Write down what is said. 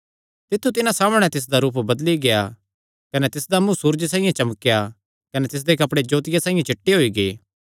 तित्थु तिन्हां सामणै तिसदा रूप बदली गेआ कने तिसदा मुँ सूरजे साइआं चमकेया कने तिसदे कपड़े जोतिया साइआं चिट्टे होई गै